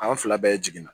An fila bɛɛ jiginna